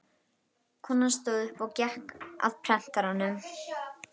Konan stóð upp og gekk að prentaranum.